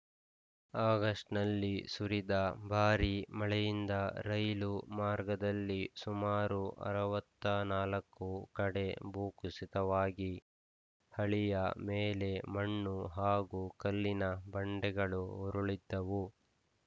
ಆಗಸ್ಟ್‌ನಲ್ಲಿ ಸುರಿದ ಭಾರಿ ಮಳೆಯಿಂದ ರೈಲು ಮಾರ್ಗದಲ್ಲಿ ಸುಮಾರು ಅರವತ್ತ್ ನಾಲ್ಕು ಕಡೆ ಭೂಕುಸಿತವಾಗಿ ಹಳಿಯ ಮೇಲೆ ಮಣ್ಣು ಹಾಗೂ ಕಲ್ಲಿನ ಬಂಡೆಗಳು ಉರುಳಿದ್ದವು